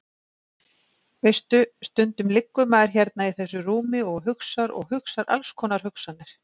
Veistu. stundum liggur maður hérna í þessu rúmi og hugsar og hugsar alls konar hugsanir.